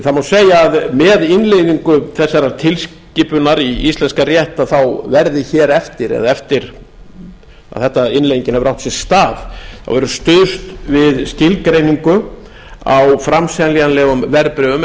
það má segja að með innleiðingu þessarar tilskipunar í íslenska rétt verði hér eftir eða eftir að innleiðingin hefur átt sér stað stuðst við skilgreiningu á framseljanlegum verðbréfum